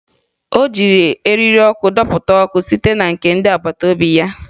O ji eriri ọkụ adọta ọkụ site na nke ndị agbataobi ya